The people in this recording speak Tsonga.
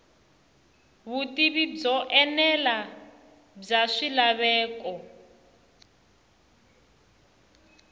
vutivi byo enela bya swilaveko